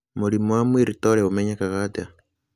Mũrimũ wa Muir Torre ũmenyekaga atĩa?